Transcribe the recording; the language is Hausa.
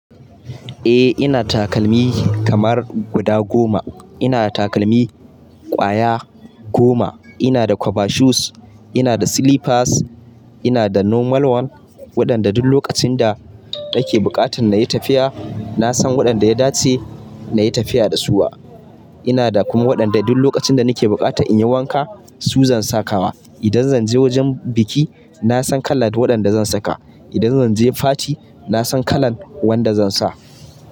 Eh ina da takalmi kamar guda goma. Ina da takalmi kwaya goma. Ina da kwaba shoes, ina da slippers, ina da normal one waɗanda duk lokacin da nake buƙata na yi tafiya, na san waɗanda ya dace na yi tafiya da suwa. Ina da kuma waɗanda duk lokacin da nake buƙata in yi wanka su zan saka wa. Idan zan je wajen biki na san kala da waɗanda zan saka. Idan zan je fati na san kalan wanda zan sa.